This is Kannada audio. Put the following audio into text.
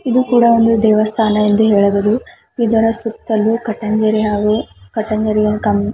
ಇದು ಕೂಡ ಒಂದು ದೇವಸ್ಥಾನ ಯೆಂದು ಹೇಳಬಹುದು ಇದರ ಸುತ್ತಲೂ ಕಟೆಲೇರಿ ಹಾಗೂ ಕಟೆಲೇರಿಯ ಕಂಬ.